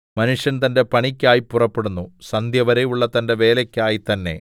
മനുഷ്യൻ തന്റെ പണിക്കായി പുറപ്പെടുന്നു സന്ധ്യവരെയുള്ള തന്റെ വേലയ്ക്കായി തന്നെ